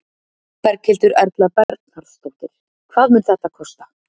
Berghildur Erla Bernharðsdóttir: Hvað mun þetta kosta?